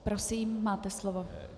Prosím, máte slovo.